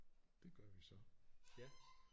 Det gør vi så